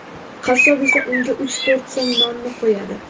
Qassob esa unga uch-to‘rt so‘m nonini qo‘yadi.